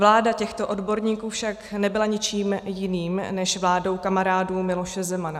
Vláda těchto odborníků však nebyla ničím jiným než vládou kamarádů Miloše Zemana.